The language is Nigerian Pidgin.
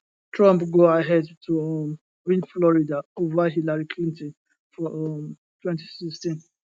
trump go ahead to um win florida ova hillary clinton for um 2016